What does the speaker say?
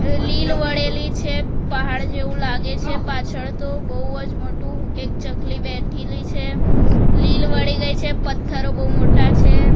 લીલ વડેલી છે પહાડ જેવું લાગે છે પાછળ તો બોઉજ મોટું એક ચકલી બેઠી છે લીલ વળી ગઈ છે પથ્થરો બહુ મોટા છે.